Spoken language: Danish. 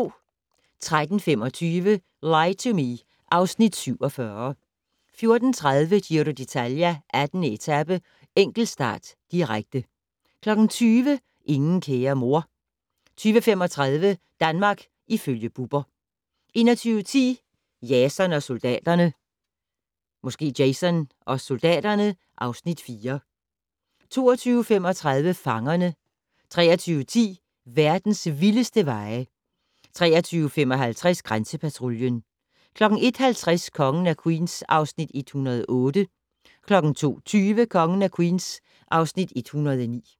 13:25: Lie to Me (Afs. 47) 14:30: Giro d'Italia: 18. etape - enkeltstart, direkte 20:00: Ingen kære mor 20:35: Danmark ifølge Bubber 21:10: Jason og soldaterne (Afs. 4) 22:35: Fangerne 23:10: Verdens vildeste veje 23:55: Grænsepatruljen 01:50: Kongen af Queens (Afs. 108) 02:20: Kongen af Queens (Afs. 109)